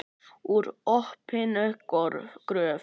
Úr opinni gröf.